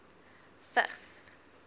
vigs